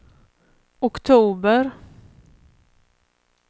oktober